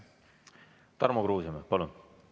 Tarmo Kruusimäe, palun!